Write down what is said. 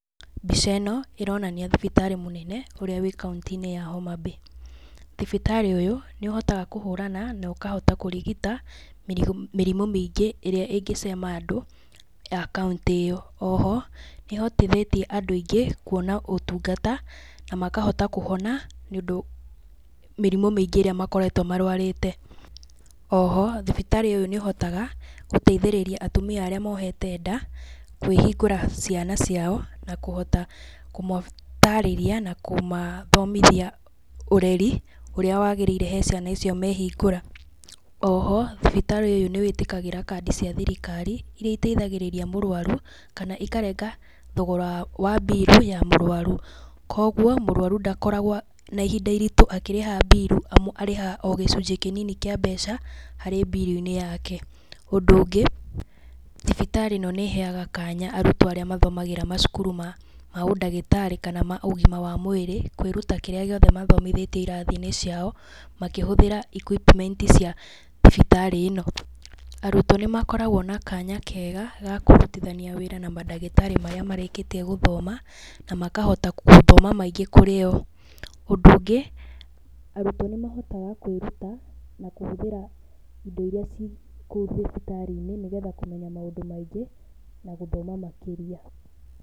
Mbica ĩno ĩronania thibitarĩ mũnene ũrĩa wa kauntĩ-inĩ ya Homa Bay. Thibitarĩ ũyũ nĩ ũhotaga kũhũrana, na ũkahota kũrigita mĩrimu mĩingĩ ĩrĩa ĩngĩcema andũ a kauntĩ ĩyo. Oho, nĩ ĩhotithĩtie andũ aingĩ kwona ũtungata na makahota kũhona nĩ ũndũ mĩrimu mĩingĩ ĩrĩa makoretwo marwarĩte. Oho, thibitarĩ ũyũ nĩ ũhotaga gũteithĩrĩria atumia arĩa mohete nda kwĩhingũra ciana ciao na kũhota kũmatarĩria na kũhota kũmathomithia ũreri ũrĩa wagĩrĩire he ciana icio mehingũra. Oho, thibitarĩ ũyũ nĩ wĩtĩkagĩra kandi cia thirikari iria ĩteithagĩrĩria mũrwaru, kana ikarenga thogora wa mbirũ ya mũrwaru. Kogwo mũrwaru ndakoragwo na ihinda iritũ akĩrĩha mbirũ, amu arĩhaga o gĩcunjĩ kĩnini kĩa mbeca harĩ mbirũ-inĩ yake. Ũndũ ũngĩ, thibitarĩ ĩno nĩ ĩheaga kanya arutwo arĩa mathomagĩra macukuru ma ũndagĩtarĩ kana ma ũgima wa mwĩrĩ kwĩruta kĩrĩa gĩothe mathomithĩtio irathi-inĩ ciao, makĩhũthĩra equipment cia thibitarĩ ĩno. Arutwo nĩ makoragwo na kanya kega ga kũrutithania wĩra na mandagĩtarĩ marĩa marĩkĩtie gũthoma, na makahota gũthoma maingĩ kurĩ o. Ũndũ ũngĩ, arutwo nĩ mahotaga kwĩruta na kũhũthĩra indo iria ciĩ kũu thibitarĩ-inĩ nĩ getha kũmenya maũndũ maingĩ na gũthoma makĩria.